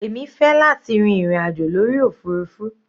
Èmi fẹ́ láti rin ìrìn àjò lórí òfurufú.